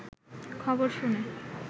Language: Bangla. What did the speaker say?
খবর শুনে